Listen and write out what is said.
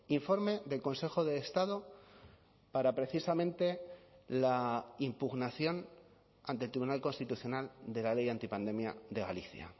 informe del consejo de estado para precisamente la impugnación ante el tribunal constitucional de la ley antipandemia de galicia